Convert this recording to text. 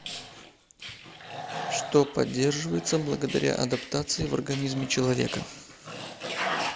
что поддерживается благодаря адаптации в организме человека